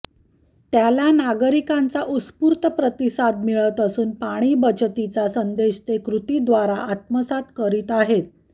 त्याला नागरिकांचा उत्स्फूर्त प्रतिसाद मिळत असून पाणी बचतीचा संदेश ते कृतीद्वारा आत्मसात करीत आहेत